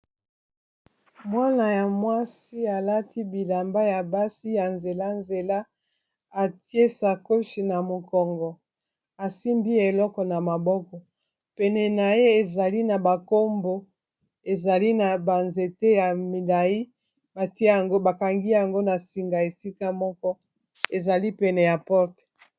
mwana ya mwasi alati bilamba ya basi ya nzela-nzela atie sa coche na mokongo asimbi eloko na maboko pene na ye ezali na bankombo ezali na banzete ya milai batia yango bakangi yango na singa a sika moko ezali pene ya porte